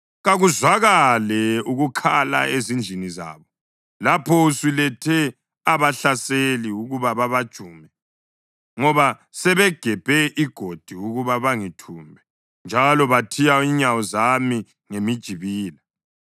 Kakuzwakale ukukhala ezindlini zabo, lapho usulethe abahlaseli ukuba babajume, ngoba sebegebhe igodi ukuba bangithumbe njalo bathiya inyawo zami ngemijibila.